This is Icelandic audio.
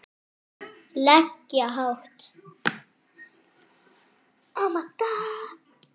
lega hátt.